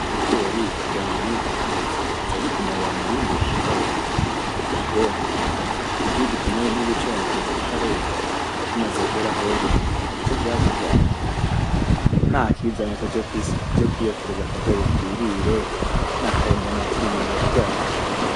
Ibigori kugira umenye ko ceze ubanza kugitonorera mumurima, oya da, ubwo iyo ugitonoye ntuba ucononye kitarera, kimaze kwera hoho harico vyoba bitwaye, nakizane tuje kwiyokereza akagori twirire, nakare mbona turi mwiyira ryavyo.